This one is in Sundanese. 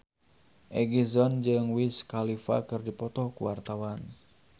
Egi John jeung Wiz Khalifa keur dipoto ku wartawan